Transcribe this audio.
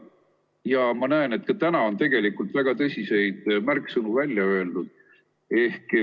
Ja ma näen, et ka täna on tegelikult väga tõsiseid märksõnu välja öeldud.